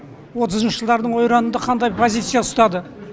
отызыншы жылдардың ойранында қандай позиция ұстады